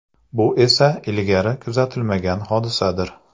Bu esa ilgari kuzatilmagan hodisadir.